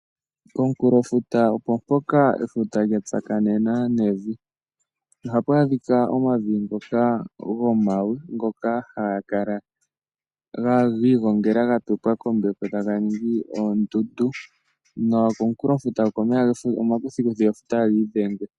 Aantu oyendji ohaya talelepo omafuta , oshoka komafuta oku waanawa , nokuna oka mbepo okawaanawa.